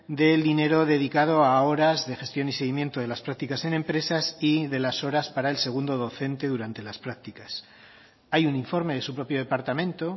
del dinero dedicado a horas de gestión y seguimiento de las prácticas en empresas y de las horas para el segundo docente durante las prácticas hay un informe de su propio departamento